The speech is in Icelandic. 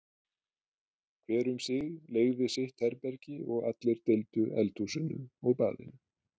Hver um sig leigði sitt herbergi og allir deildu eldhúsinu og baðinu.